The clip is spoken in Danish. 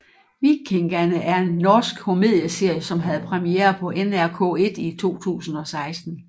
Vikingane er en norsk komedieserie som havde premiere på NRK1 i 2016